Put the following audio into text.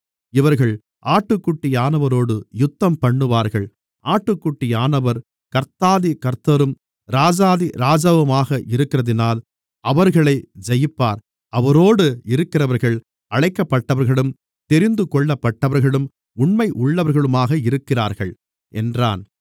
இவர்கள் ஆட்டுக்குட்டியானவரோடு யுத்தம்பண்ணுவார்கள் ஆட்டுக்குட்டியானவர் கர்த்தாதி கர்த்தரும் ராஜாதி ராஜாவுமாக இருக்கிறதினால் அவர்களை ஜெயிப்பார் அவரோடு இருக்கிறவர்கள் அழைக்கப்பட்டவர்களும் தெரிந்துகொள்ளப்பட்டவர்களும் உண்மையுள்ளவர்களுமாக இருக்கிறார்கள் என்றான்